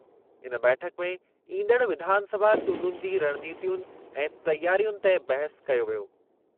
इन बैठकु में ईंदड़ विधानसभा चूंडुनि जी रणनीतीयुनि ऐं तयारियुनि ते बहसु कयो वियो।